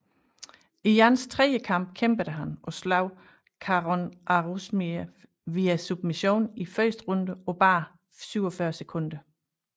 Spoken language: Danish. I Jans tredje kamp kæmpede han og slog Kharon Orzumiev via submission i første runde på bare 47 sekunder